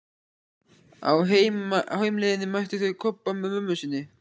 Á heimleiðinni mættu þau Kobba með mömmu sinni.